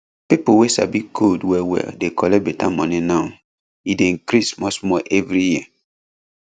pipo wey sabi code wellwell dey collect better money now e dey increase smallsmall every year